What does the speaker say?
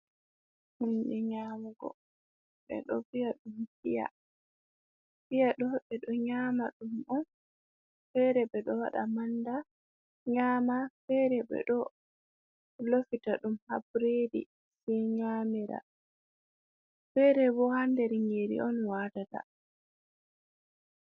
Hunde nyamugo ɓeɗo ɗo vi’a ɗum piya, piya ɗo ɓeɗo nyama ɗum on, fere ɓeɗo ɗo waɗa manda, nyama fere, ɓe ɗo lofita ɗum nder haburedi sai nyamira, fere bo ha nder nyiri on watata.